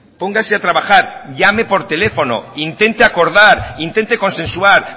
póngase a trabajar llame por teléfono intente acordar intente consensuar